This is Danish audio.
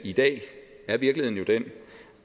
i dag er virkeligheden jo den